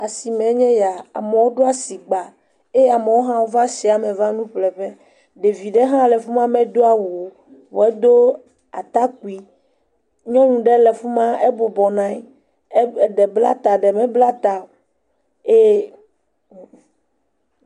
Asimee nye eya, amewo ɖo asigba eye amewo va asime va nu ƒle ƒe, ɖevi ɖe le fi ma medo awu o, vɔ edo atakpui, nyɔnu ɖe le fi ma ebɔbɔ nɔ anyi e..e..eɖe bla ta eɖe mebla ta o eye.